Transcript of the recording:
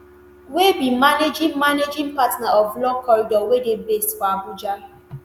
wey be managing managing partner of law corridor wey dey based for abuja